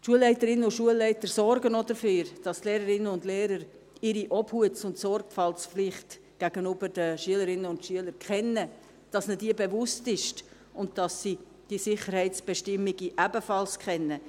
Die Schulleiterinnen und Schulleiter sorgen auch dafür, dass die Lehrerinnen und Lehrer ihre Obhuts- und Sorgfaltspflicht gegenüber den Schülerinnen und Schülern kennen, dass ihnen diese bewusst ist und dass sie auch die Sicherheitsbestimmungen kennen.